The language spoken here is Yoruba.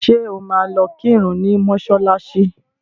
Ṣé o máa lọ kírun ní mọ́ṣálạ́ṣí?